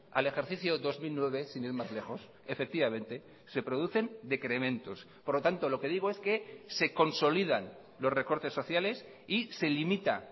al ejercicio dos mil nueve sin ir más lejos efectivamente se producen decrementos por lo tanto lo que digo es que se consolidan los recortes sociales y se limita